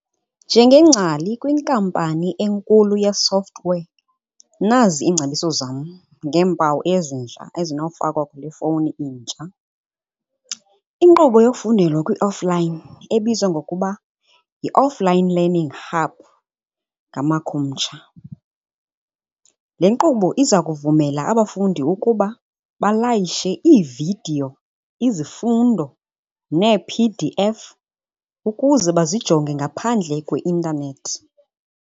Njengengcali kwinkampani enkulu ye-software nazi iingcebiso zam ngeempawu ezintsha ezinofakwa kule fowuni intsha. Inkqubo yokufundela kwi-offline ebizwa ngokuba yi-Offline Learning Hub ngamakhumsha. Le nkqubo iza kuvumela abafundi ukuba balayishe iividiyo, izifundo, neePDF ukuze bazijonge ngaphandle kweintanethi.